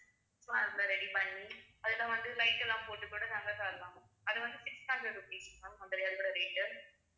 so அதுல ready பண்ணி அதுல வந்து light எல்லாம் போட்டு கூட தரலாம் அது வந்து six hundred rupees ma'am அந்த rate உ